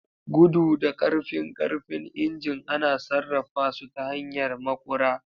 Gudu da ƙarfin ƙarfin injin ana sarrafa su ta hanyar maƙura.